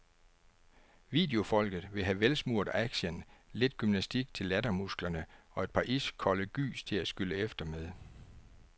Videofolket vil have velsmurt action, lidt gymnastik til lattermusklerne og et par iskolde gys til at skylle efter med.